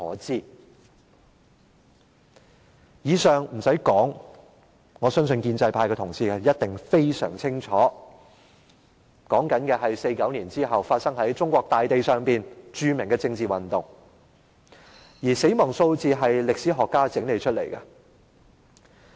不用多說，建制派同事相當清楚1949年後發生在中國大地上的多場著名政治運動，當中的死亡數字是由歷史學家整理出來的。